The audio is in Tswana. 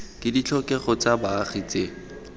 ke ditlhokego tsa baagi tse